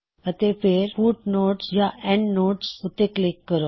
ਅਤੇ ਫੇਰ ਫੁਟਨੋਟਸਐੱਨਡਨੋਟਸ ਉੱਤੇ ਕਲਿੱਕ ਕਰੋ